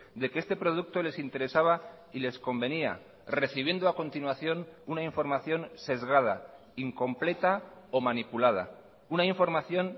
de que este producto les interesaba y les convenía recibiendo a continuación una información sesgada incompleta o manipulada una información